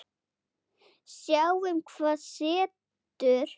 Sjáum hvað setur.